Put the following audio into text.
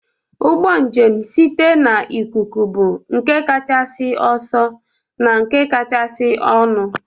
Ụgbọ njem site n'ikuku bụ nke kachasị ọsọ na nke kachasị ọnụ